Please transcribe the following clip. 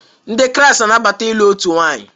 Ndị Kraịst na-anabata ịlụ otu nwanyị